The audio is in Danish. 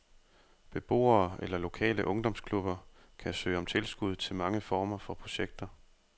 Beboere eller lokale ungdomsklubber kan søge om tilskud til mange former for projekter.